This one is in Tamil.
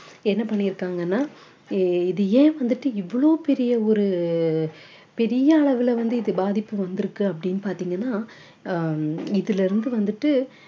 என்ன பண்ணியிருக்காங்கன்னா ஆஹ் இது ஏன் வந்துட்டு இவ்ளோ பெரிய ஒரு பெரிய அளவுல வந்து இது பாதிப்பு வந்திருக்கு அப்படீன்னு பாத்தீங்கன்னா ஆஹ் இதிலிருந்து வந்துட்டு